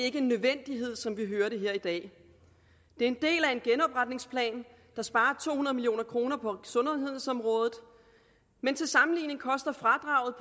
ikke en nødvendighed som vi har hørt her i dag det er en del af en genopretningsplan der sparer to hundrede million kroner på sundhedsområdet men til sammenligning koster fradraget